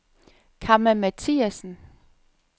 Kamma Mathiasen